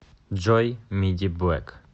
джой мидиблэк